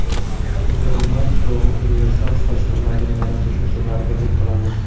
Quyida romantik va universal soch turmagini yaratish usullariga to‘xtalamiz.